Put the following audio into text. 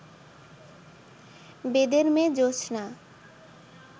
বেদের মেয়ে জোছনা